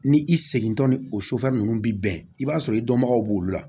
Ni i segintɔ ni o sofɛri nunnu bi bɛn i b'a sɔrɔ i dɔnbagaw b'olu la